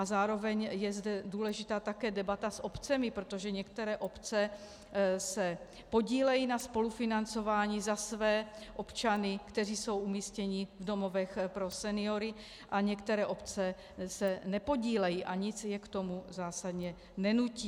A zároveň je zde důležitá také debata s obcemi, protože některé obce se podílejí na spolufinancování za své občany, kteří jsou umístěni v domovech pro seniory, a některé obce se nepodílejí a nic je k tomu zásadně nenutí.